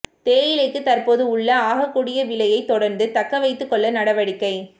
தேயிலைக்கு தற்பொழுது உள்ள ஆகக்கூடிய விலையை தொடர்ந்து தக்கவைத்துக்கொள்ள நடவடிக்கை